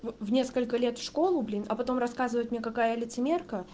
в в несколько лет в школу блин а потом рассказывать мне какая я лицемерка